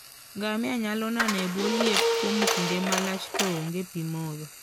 Ngamia nyalo nano e bwo liet kuom kinde malach to onge pi modho.